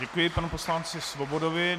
Děkuji panu poslanci Svobodovi.